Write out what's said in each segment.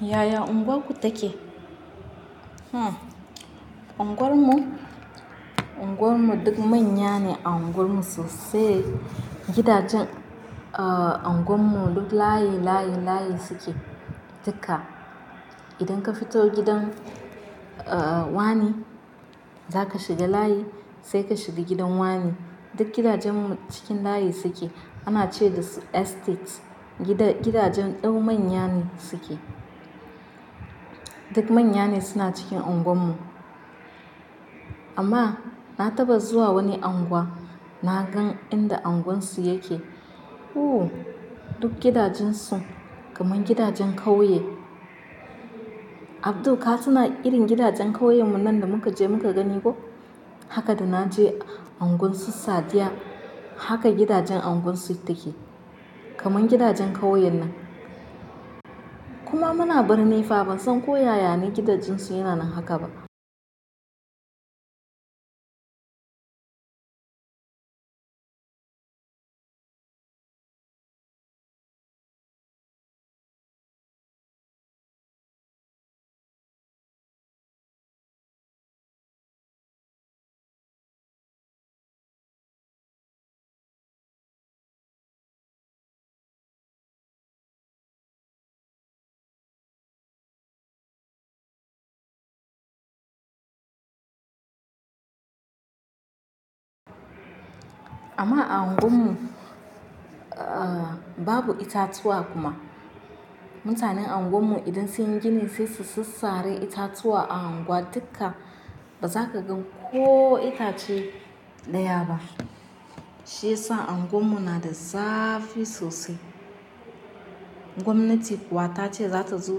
Yaya unguwarku take? Hmm, unguwarmu? Unguwarmu duk manya ne a unguwarmu sosai. Gidajen ah unguwarmu duk layi layi layi suke. Dukka. Idan ka fito gidan ah wane, zaka shiga layi sai ka shiga gidan wane. Duk gidajenmu cikin layi suke. Ana ce dasu estate. Gida-gidajen dau manya ne suke. Duk manya ne suna cikin unguwarmu. Amma na taɓa zuwa wani unguwa, na gan inda unguwarsu yake. Hu! Duk gidajensu kamar gidajen kauye. "Abdu ka suna irin gidajen kauyenmu nan da muka je muka gani ko?" Haka da na je unguwarsu Sadiya, haka gidajen unguwarsu take. Kamar gidajen kauye nan. Kuma muna birni fa, ban san ko yaya ne gidajensu yana nan haka ba. Amma a unguwarmu, ah babu itatuwa kuma. Mutanen unguwarmu idan sun yi gini sai su sassare itatuwa a unguwa, dukka ba za ka gan ko itace ɗaya ba. Shi yasa unguwarmu na da zafi sosai. Gwamnati kuwa ta ce za ta zo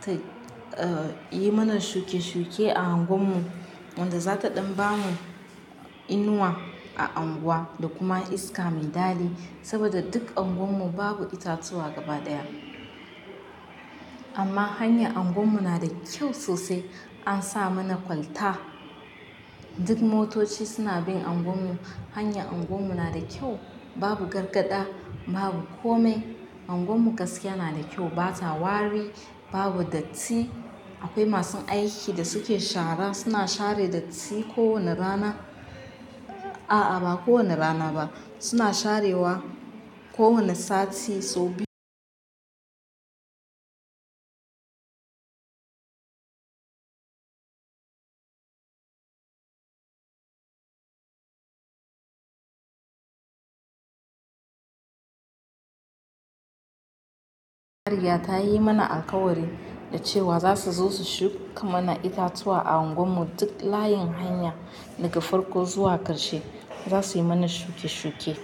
ta ah yi mana shuke-shuke a unguwarmu, wanda za ta ɗan ba mu inuwa a unguwa da kuma iska maiɗali, saboda duk unguwarmu babu itatuwa gaba ɗaya. Amma hanya unguwarmu na da kyau sosai. An sa mana kwalta. Duk motoci suna bin unguwarmu. Hanya unguwarmu na da kyau. Babu gargada, babu kome. Unguwarmu gaskiya na da kyau. Bata wari, babu datti. Akwai masu aiki da suke shara, suna share datti kowane rana. A'a ba kowane rana ba, suna sharewa kowane sati sau biyu. Mariya ta yi mana alkawari da cewa za su zo su shuka mana itatuwa a unguwarmu duk layin hanya daga farko zuwa ƙarshe. Za su yi mana shuke-shuke.